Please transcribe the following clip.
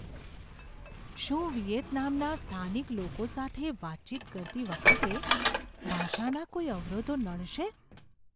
શું વિયેતનામના સ્થાનિક લોકો સાથે વાતચીત કરતી વખતે ભાષાના કોઈ અવરોધો નડશે?